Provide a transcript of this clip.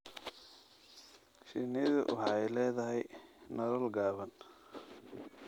Shinnidu waxay leedahay nolol gaaban.